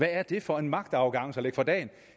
er det for en magtarrogance at lægge for dagen